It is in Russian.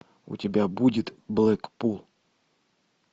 у тебя будет блэкпул